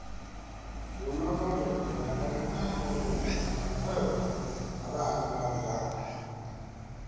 Ndũnathondekwo na dagĩtarĩ othe nĩ kũma marauma mathaa nĩmathira?